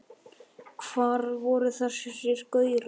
Hvar voru þessir gaurar?